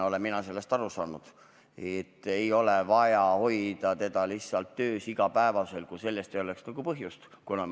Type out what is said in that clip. Mina olen aru saanud nii, et seda ei ole vaja igapäevaselt töös hoida, kui selleks põhjust ei ole.